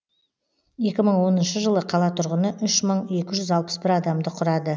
екі мың оныншы жылы қала тұрғыны үш мың екі жүз алпыс бір адамды құрады